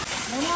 Normaldır.